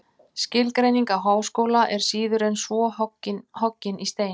Skilgreining á háskóla er síður en svo hoggin í stein.